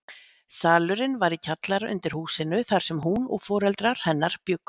Salurinn var í kjallara undir húsinu þar sem hún og foreldrar hennar bjuggu.